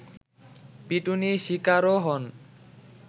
পিটুনি শিকারও হন